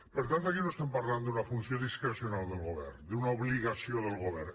per tant aquí no estem parlant d’una funció discrecional del govern d’una obligació del govern